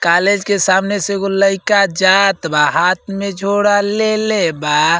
College के सामने से एगो लइका जात बा। हाथ में झोरा ले ले बा।